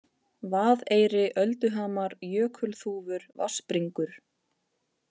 Vaðeyri, Ölduhamar, Jökulþúfur, Vatnsbringur